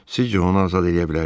Sizcə onu azad eləyə bilərik?